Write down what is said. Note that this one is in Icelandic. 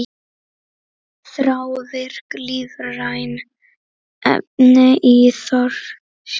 Þrávirk lífræn efni í þorski